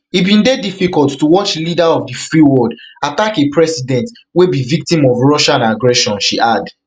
e bin dey difficult to watch leader of di free world attack a president wey be victim of russian aggression she add